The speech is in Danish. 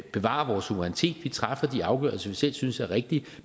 bevarer vores suverænitet vi træffer de afgørelser vi selv synes er rigtige